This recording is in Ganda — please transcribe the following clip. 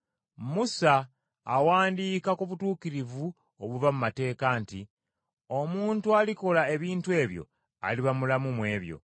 Musa awandiika ku butuukirivu obuva mu mateeka nti, “Omuntu alikola ebintu ebyo aliba mulamu mu byo.”